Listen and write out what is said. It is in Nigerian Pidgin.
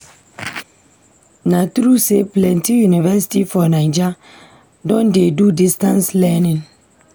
Na true sey plenty university for Naija don dey do distance learning?